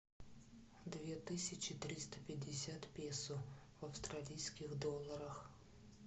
две тысячи триста пятьдесят песо в австралийских долларах